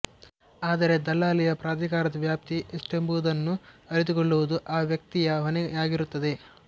ಆದರೆ ದಲ್ಲಾಳಿಯ ಪ್ರಾಧಿಕಾರದ ವ್ಯಾಪ್ತಿ ಎಷ್ಟೆಂಬುದನ್ನು ಅರಿತುಕೊಳ್ಳುವುದು ಆ ವ್ಯಕ್ತಿಯ ಹೊಣೆಯಾಗಿರುತ್ತದೆ